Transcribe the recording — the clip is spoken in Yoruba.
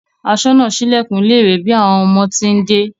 Aṣọ́nà sílẹ̀kùn ilé ìwé bí àwọn ọmọ ti ń dé